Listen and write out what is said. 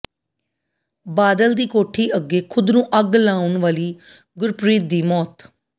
ਬਾਦਲ ਦੀ ਕੋਠੀ ਅੱਗੇ ਖ਼ੁਦ ਨੂੰ ਅੱਗ ਲਾਉਣ ਵਾਲੀ ਗੁਰਪ੍ਰੀਤ ਦੀ ਮੌਤ